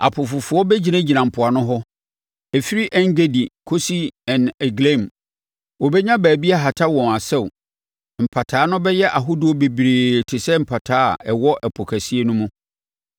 Apofofoɔ bɛgyinagyina mpoano hɔ; ɛfiri En-Gedi kɔsi En-Eglaim. Wɔbɛnya baabi ahata wɔn asau. Mpataa no bɛyɛ ahodoɔ bebree te sɛ mpataa a ɛwɔ Ɛpo kɛseɛ no mu.